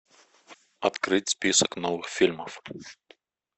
открыть список новых фильмов